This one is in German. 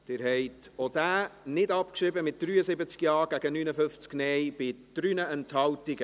Sie haben auch diesen Vorstoss nicht abgeschrieben, mit 73 Ja- gegen 59 Nein-Stimmen bei 3 Enthaltungen.